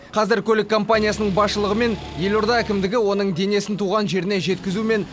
қазір көлік компаниясының басшылығы мен елорда әкімдігі оның денесін туған жеріне жеткізу мен